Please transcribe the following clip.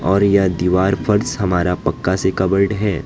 और यह दीवार फर्श हमारा पक्का से कवर्ड है।